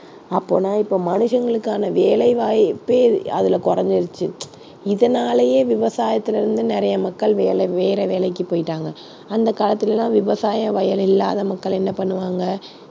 அப்போனா இப்ப மனுஷங்களுக்கான வேலை வாய்ப்பே அதுல குறைஞ்சிடுச்சு. இதனாலயே விவசாயத்திலிருந்து நிறைய மக்கள் வேலை வேற வேலைக்குப் போயிட்டாங்க. அந்தக் காலத்துல எல்லாம் விவசாய வயல் இல்லாத மக்கள் என்ன பண்ணுவாங்க.